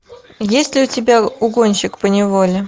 есть ли у тебя угонщик поневоле